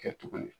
Kɛ tuguni